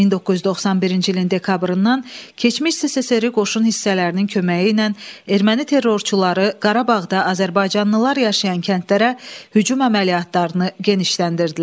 1991-ci ilin dekabrından keçmiş SSRİ-nin qoşun hissələrinin köməyi ilə erməni terrorçuları Qarabağda azərbaycanlılar yaşayan kəndlərə hücum əməliyyatlarını genişləndirdilər.